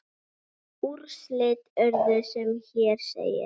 Úrslit urðu sem hér segir